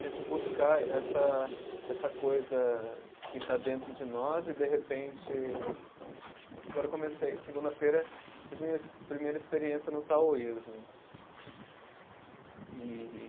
Tento buscar essa, essa coisa que está dentro de nós e, de repente. Agora comecei, segunda-feira, tive minha primeira experiência no taoísmo. E